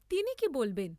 তিনি কি বলবেন?